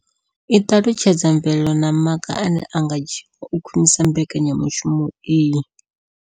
I ṱalutshedza mvelelo na maga ane a nga dzhiwa u khwinisa mbekanya mushumo iyi.